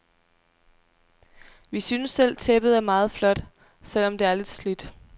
Vi synes selv tæppet er meget flot, selv om det er lidt slidt.